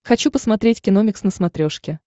хочу посмотреть киномикс на смотрешке